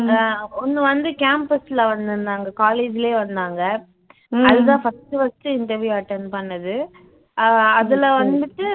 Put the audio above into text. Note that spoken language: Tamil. அஹ் ஒண்ணு வந்து campus ல வந்திருந்தாங்க college லயே வந்திருந்தாங்க அதுதான் first first interview attend பண்ணது அஹ் அதுல வந்துட்டு